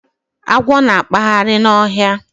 Agwọ na-akpagharị n'ọhịa.